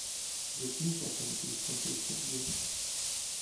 закинь папе на телефон триста рублей